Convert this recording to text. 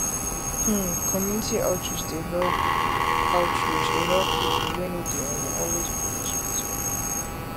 hmmcommunity outreach dey help outreach dey help people wey no dey um always go hospital